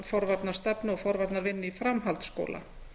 forvarnastefnu og forvarnavinnu í framhaldsskóla